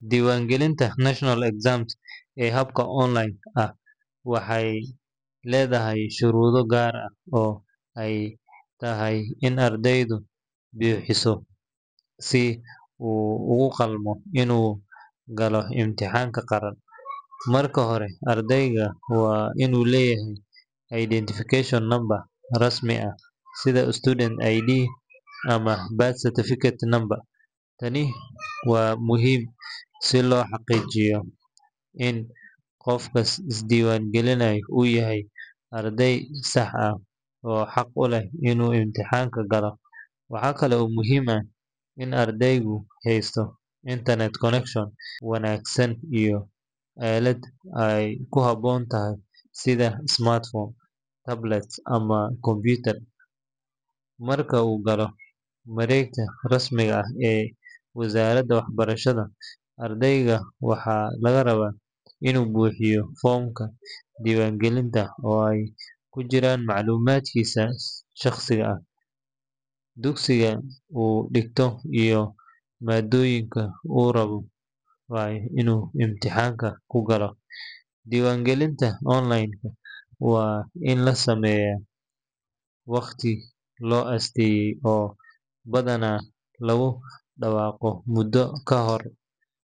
Diwan galinta natural exam ee habka online ah waxee ledhahay sharudo gar ah ee in ardeydu bixiso si u ugu qeb galo intaxanka qaran in u leyahay sitha student ID marka u galo waregta rasmi ah ardeyga waxaa laga rawa in u buxiyo fomka, diwan galinta waa in la sameyo oo badana lagu dawaqo mudo kahor.